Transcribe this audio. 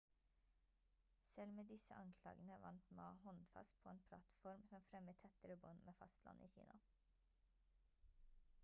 selv med disse anklagene vant ma håndfast på en plattform som fremmer tettere bånd med fastlandet i kina